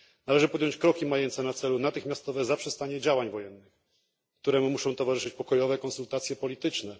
Należy podjąć kroki mające na celu natychmiastowe zaprzestanie działań wojennych, któremu muszą towarzyszyć pokojowe konsultacje polityczne.